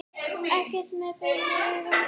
Ekki með berum augum.